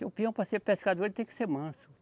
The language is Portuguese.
O peão para ser pescador ele tem que ser manso.